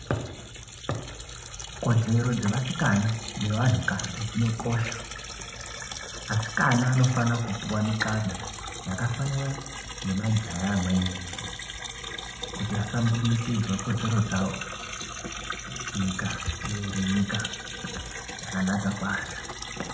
Kodzero dzevasikana nevantu kadzi dzinokosheswa asikana anofana kupiwa mikana yakafanana nemajaha amweni eshe kuti asambundiridzike kodzero dzawo nyika ive iri nyika yakanaka kwazvo.